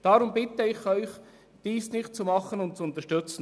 Deshalb bitte ich Sie, diese Sparmassnahme nicht zu unterstützen.